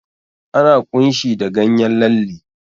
Ana ƙunshi da ganyen lalle.